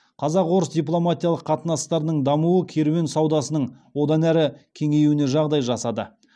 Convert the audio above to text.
қазақ орыс дипломатиялық қатынастарының дамуы керуен саудасының одан әрі кеңеюіне жағдай жасады